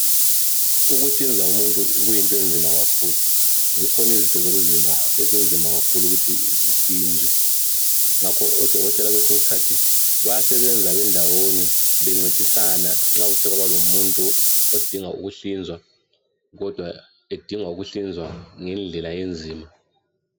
Ukuhlinza umuntu kuyinto enzima kakhulu. Zikhona izitho zomzimba ezinzima kakhulu ukuthi zihlinzwe. Ngakho odokotela kwesinye isikhathi, bayasebenza be ndawonye bencedisana nxa kuthe kwaba lomuntu odinga ukuhlinzwa kodwa edinga ukuhlinzwa ngendlela enzima.